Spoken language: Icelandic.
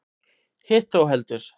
Hitt þó heldur.